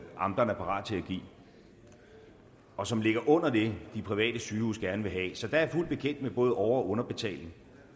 amterne er parat til at give og som ligger under det de private sygehuse gerne vil have så jeg er fuldt bekendt med både over og underbetaling